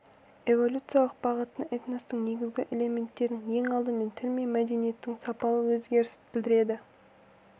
эволюциялық бағыты этностың негізгі элементерінің ең алдымен тіл мен мәдениеттің сапалы өзгерісін білдіреді